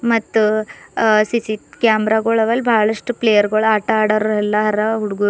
ಮತ್ತು ಅ ಸಿ_ಸಿ ಕ್ಯಾಮರಗುಳವೆ ಅಲ್ ಬಹಳಷ್ಟು ಪ್ಲೇಯರ್ಗಳು ಆಟ ಆಡರ ಅಲ್ಲರಾ ಹುಡ್ಗುರು.